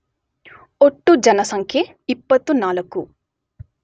ಒಟ್ಟು ಜನಸಂಖ್ಯೆ ೨೪